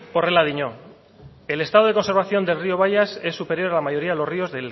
horrela dio el estado de conservación del rio bayas es superior a la mayoría de los ríos